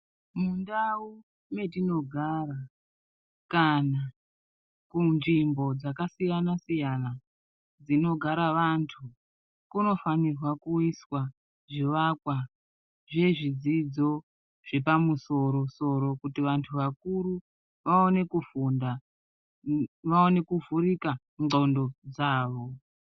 Mundau metinogara kana munzvimbo dzakasiyana siyana dzinogara vantu, kunofanira kuiswa zvivakwa zvezvidzidzo zvepamusoro soro, kuti vantu vakuru vaone kufunda, vaone kuvhurika ndxondo dzavo.